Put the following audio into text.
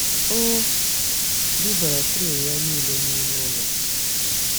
O bubara tray ya niile n'ime ụlọ